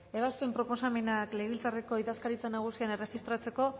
ebazpen proposamenak legebiltzarreko idazkaritza nagusian erregistratzeko